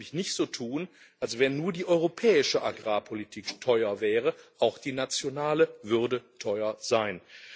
Wir sollten nämlich nicht so tun, als wäre nur die europäische Agrarpolitik teuer auch die nationale würde teuer sein.